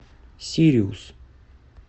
сириус